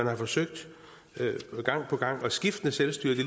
har forsøgt gang på gang og med skiftende selvstyrer det